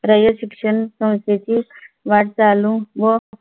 रयत शिक्षण संस्थेची वाटचाल चालू व